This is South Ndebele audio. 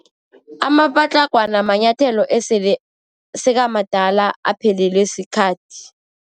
Amapatlagwana manyathelo esele sekamadala, aphelelwe sikhathi.